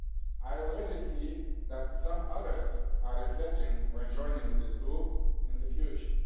I can already see that some others are reflecting on joining this group in the future.